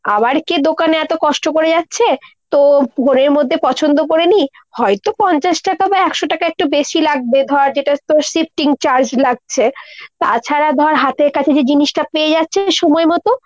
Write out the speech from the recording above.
আবার কে দোকানে এত কষ্ট করে যাচ্ছে। তো phone এর মধ্যে পছন্দ করে নি, হয়তো পঞ্চাশ টাকা বা একশো টাকা একটু বেশি লাগবে, ধর যেটা তোর shifting charge লাগছে। তাছাড়া ধর হাতের কাছে যে জিনিসটা পেয়ে যাচ্ছে সময়মতো।